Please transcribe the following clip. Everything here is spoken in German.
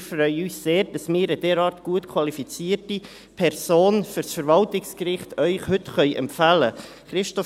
Wir freuen uns sehr, dass wir Ihnen heute eine derart gut qualifizierte Person für das Verwaltungsgericht empfehlen können.